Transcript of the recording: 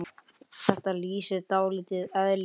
Þetta lýsir dálítið eðli hennar.